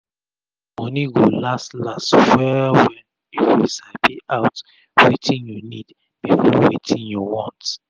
ur moni go las las wel wel if u sabi out wetin u nid before wetin u want